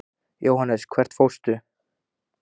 Jóhannes: Hvert fórstu?